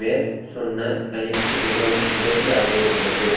மேற் சொன்ன கணிப்பு மிகவும் உதவியாக இருந்தது